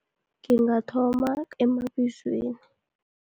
Ngingathoma